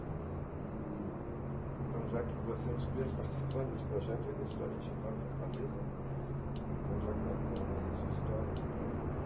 Então, já que você é um dos primeiros participantes desse projeto da História Digital de Fortaleza, então, já contando aí a sua história, eu